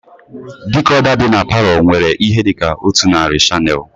Dikoda dị n'palo nwere ihe dịka otu narị shanel